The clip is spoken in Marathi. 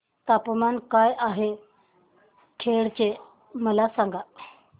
तापमान काय आहे खेड चे मला सांगा